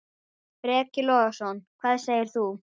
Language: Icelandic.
Breki Logason: Hvað segir þú?